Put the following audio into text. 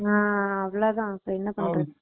உம் அவ்ளோதா அப்பறோ என்ன பண்றது